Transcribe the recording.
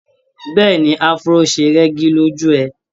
Bẹ́ẹ̀ni Afro ṣe rẹ́gí lójú ẹ.